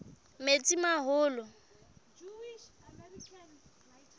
metsimaholo